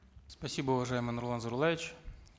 спасибо уважаемый нурлан зайроллаевич